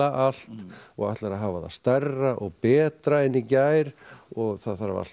allt og ætlar að hafa það stærra og betra en í gær og það þarf allt